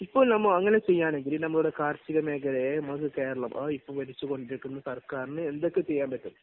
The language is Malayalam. ഇപ്പോൾ നമ്മൾ അങ്ങനെ ചെയ്യുകയാണെങ്കിൽ നമ്മുടെ കാർഷിക മേഖലയെ നമുക്ക് കേരളം ആ ഇപ്പോൾ ഭരിച്ചുകൊണ്ടിരിക്കുന്ന സർക്കാരിന് എന്തൊക്കെ ചെയ്യാൻ പറ്റും?